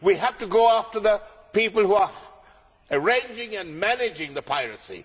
We have to go after the people who are arranging and managing the piracy.